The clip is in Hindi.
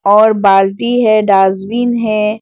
और बाल्टी है डॉसबिन है।